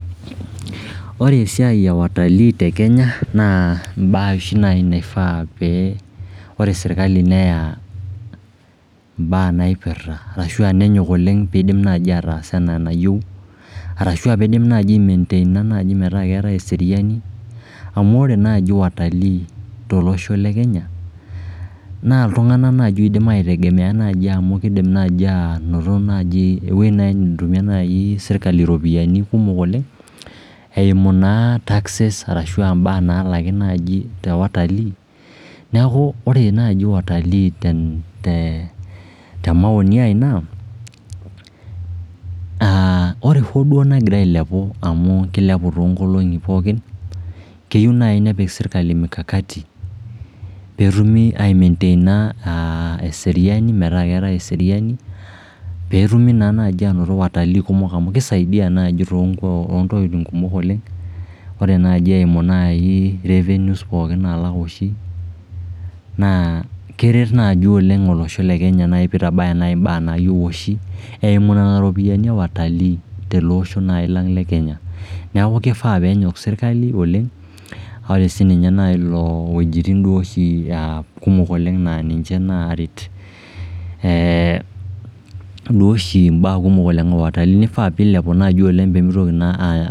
ore esiai e watalii te kenya naa mbaa oshi naifaa, pee ore serkali neya mbaa naipirta arashua nenyok oleng peidim naaji ataas enaa enayieu, arashua peidim naaji ai mainteina naaji metaa keetae eseriani, amu ore naaji watalii to losho le kenya naa iltung'anak oidim naaji ai tegemea naaji amu kidim naaji anoto naaji ewuei naaji netumie naai serkali iropiani kumok oleng, eimu naa taxes arashua mbaa nalaki naaji te watalii, neeku ore naaji watalii ten te maoni naa aah ore duo hoo negira ailepu amu kilepu toonkolong'i pookin keyieu naaji nepik serkali mikakati peetumu aimenteina aah eseriani metaa keetae eseriani, peetumi naa naji anoto watalii kumok amu kisaidia naaji toont toontokiting kumok oleng, ore naaji eimu naai revenues naalak oshi naa keret naaji oleng olosho le kenya naai peitabaya mbaa naayieu oshi eimu nena ropiani e watalii tele osho naai lang le kenya, neeku keifaa peenyok serkali oleng. ore sii ninye naa ilo wuejitin duo oshi aah kumok oleng naa ninche naret eeh duo oshi mbaa kumok oleng e watalii neifaa peilepu naaji oleng peemeitoki naa aah